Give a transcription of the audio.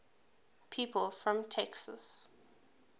people from texas